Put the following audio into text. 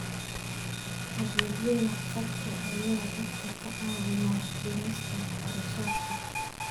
Adeegyada khadka ayaa dadka ka caawiya dhimista kharashaadka.